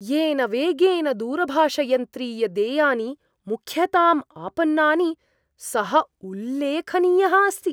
येन वेगेन दूरभाषयन्त्रीयदेयानि मुख्यतां आपन्नानि, सः उल्लेखनीयः अस्ति।